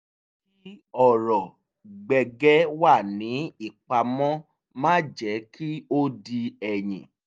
kí ọrọ̀ gbẹ̀ǵẹ̀ wà ní ìpamọ́ má jẹ́ kí ó di ẹ̀yìn